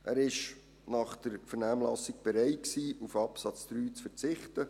Er war nach der Vernehmlassung bereit, auf den Absatz 3 zu verzichten.